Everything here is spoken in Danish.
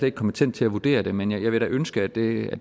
ikke kompetent til at vurdere det men jeg vil da ønske at det